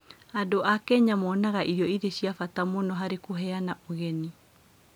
Andũ a Kenya monaga irio irĩ cia bata mũno harĩ kũheana ũgeni.